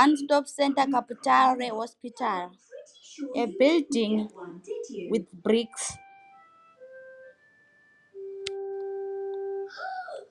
one stop center kabutare a building with bricks